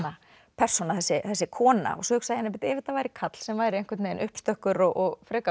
persóna þessi kona svo hugsaði ég bíddu ef þetta væri karl sem væri uppstökkur og frekar